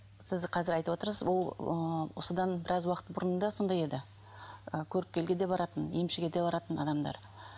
сіз қазір айтып отырсыз ол ыыы осыдан біраз уақыт бұрын да сондай еді ы көріпкелге де баратын емшіге де баратын адамдар